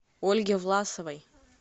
ольге власовой